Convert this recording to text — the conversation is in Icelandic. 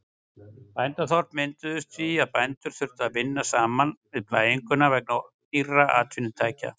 Bændaþorp mynduðust því að bændur þurftu að vinna saman við plæginguna vegna dýrra atvinnutækja.